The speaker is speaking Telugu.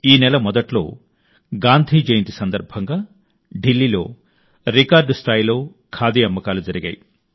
ఈ నెల మొదట్లో గాంధీ జయంతి సందర్భంగా ఢిల్లీలో రికార్డు స్థాయిలో ఖాదీ అమ్మకాలు జరిగాయి